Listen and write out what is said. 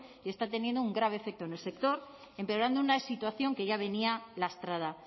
y está teniendo un grave efecto en el sector empeorando una situación que ya venía lastrada